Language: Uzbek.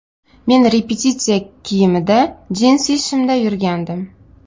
Men repetitsiya kiyimida, jinsi shimda yurgandim.